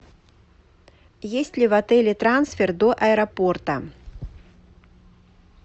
есть ли в отеле трансфер до аэропорта